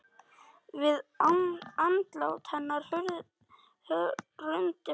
Við andlát hennar hrundi pabbi.